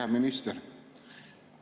Hea minister!